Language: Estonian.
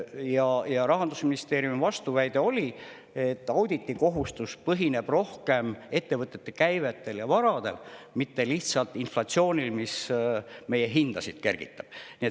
Aga Rahandusministeeriumi vastuväide oli selline, et auditikohustus põhineb rohkem ettevõtete käibel ja varadel, mitte lihtsalt inflatsioonil, mis meie hindasid kergitab.